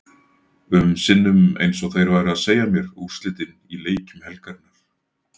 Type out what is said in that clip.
um sinnum eins og þeir væru að segja mér úrslitin í leikjum helgarinnar.